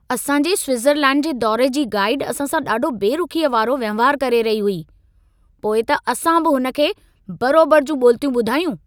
असां जे स्विट्ज़रलैण्ड जे दौरे जी गाइड असां सां ॾाढो बेरुखीअ वारो वहिंवार करे रही हुई। पोइ त असां बि हुन खे बरोबर जूं ॿोलितियूं ॿुधायूं।